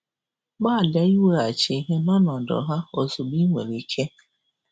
Gbalịa iweghachi ihe nọnọdụ ha um ozugbo ị nwere ike.